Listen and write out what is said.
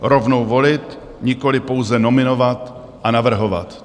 Rovnou volit, nikoli pouze nominovat a navrhovat.